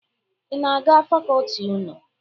Ị na-aga fakọọti unu?